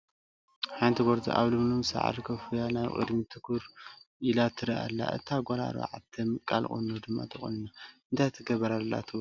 ሓንቲ ጎርዞ ኣብ ልምሉም ሳዕሪ ኮፍ ኢላ ናብ ቅድሚኣ ትኩር ትሪኢ ኣላ፡፡ እታ ጓል 4 ምቃል ቁኖ ድማ ተቆኒና፡፡ እንታይ ትገብር ኣላ ትብሉ?